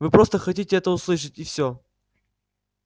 вы просто хотите это услышать и всё